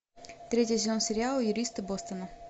третий сезон сериала юристы бостона